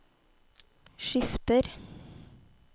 skifter